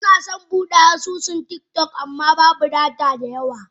Muna son Bude asusun tiktok amma babu data a wayata.